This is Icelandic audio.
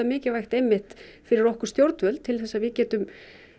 mikilvægt einmitt fyrir okkur stjórnvöld til þess að við getum